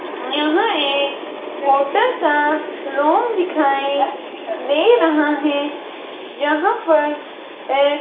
यहां एक होटल का रूम दिखाई दे रहा है जहां पर एक--